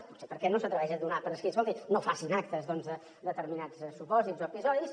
potser perquè no s’atreveix a donar per escrit escoltin no facin actes doncs de determinats supòsits o episodis